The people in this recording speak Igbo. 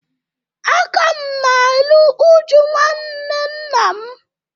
A ka m na-eru uju nwanne nna m